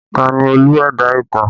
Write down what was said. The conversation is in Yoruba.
Ta ni Olú ẹ̀dá ìtàn?